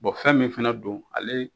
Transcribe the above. fɛn min fɛnɛ don ale